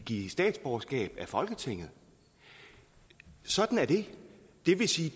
give statsborgerskab er folketinget sådan er det det vil sige